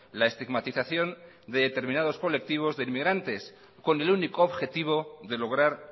la estigmatización de determinados colectivos de inmigrantes con el único objetivo de lograr